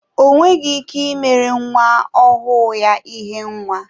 Onweghi ike imere nwa ọhụụ ya ihe nwa